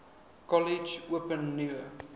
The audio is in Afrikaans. kollege open nuwe